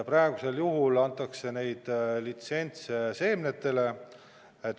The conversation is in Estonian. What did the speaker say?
Praegu antakse neid litsentse seemnetele.